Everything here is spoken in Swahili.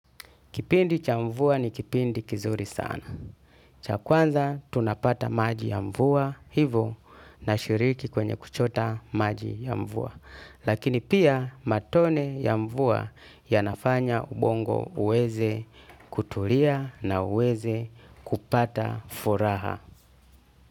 Kipindi cha mvua ni kipindi kizuri sana. Cha kwanza tunapata maji ya mvua hivo nashiriki kwenye kuchota maji ya mvua. Lakini pia matone ya mvua yanafanya ubongo uweze kutulia na uweze kupata furaha.